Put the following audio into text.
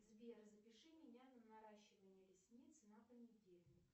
сбер запиши меня на наращивание ресниц на понедельник